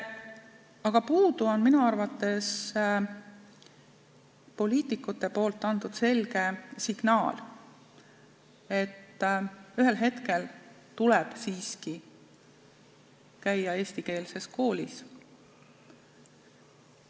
Aga puudu on minu arvates poliitikute antud selge signaal, et ühel hetkel tuleb siiski hakata käima eestikeelses koolis.